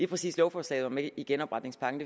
præcis lovforslaget var med i genopretningspakken